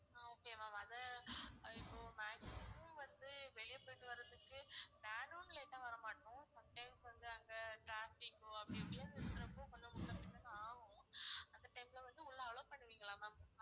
ஆஹ் okay ma'am அத அஹ் இப்போ maximum வந்து வெளிய போயிட்டு வர்றதுக்கு வேணும்னு late ஆ வரமாட்டோம் sometimes வந்து அங்க traffic ஓ அப்படி எப்படியாவது இருக்கறப்போ கொஞ்சம் முன்ன பின்ன தான் ஆகும் அந்த time ல வந்து உள்ள allow பண்ணுவிங்களா ma'am